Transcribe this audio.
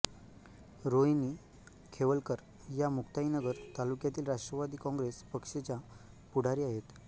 रोहिणी खेवलकर या मुक्ताईनगर तालुक्यातील राष्ट्रवादी काँग्रेस पक्षच्या पुढारी आहेत